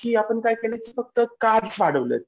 की आपण काय केलंय फक्त कार्ब्स वाढवलेत